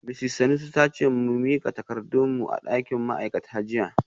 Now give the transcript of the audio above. Misis Sanusi ta ce mu mika takardun mu a dakin ma’aikata jiya